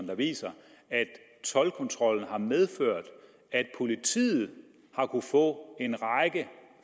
der viser at toldkontrollen har medført at politiet har kunnet få